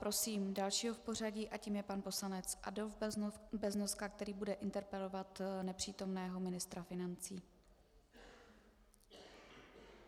Prosím dalšího v pořadí a tím je pan poslanec Adolf Beznoska, který bude interpelovat nepřítomného ministra financí.